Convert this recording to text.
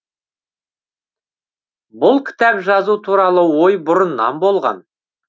бұл кітап жазу туралы ой бұрыннан болған